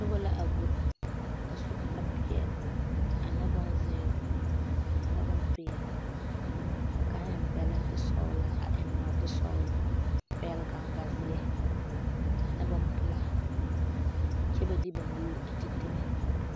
Noba la a go a su kparre peɛle ane bonzeere ane bompeɛle ka kaŋ e bɛlɛnte sɔgelaa a eŋ nɔɔte sɔgelɔ a pɛgele gaŋganzeɛ ane bompelaa kyɛ ba de ba nuure a de teŋa